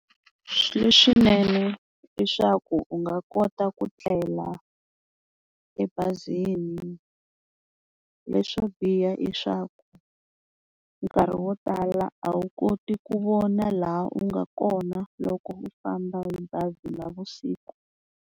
Leswinene i swa ku u nga kota ku tlela ebazini, leswo biha i swa ku nkarhi wo tala a wu koti ku vona laha u nga kona loko u famba hi bazi navusiku.